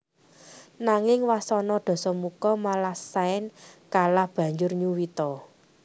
Nanging wasana Dasamuka malah sign kalah banjur nyuwita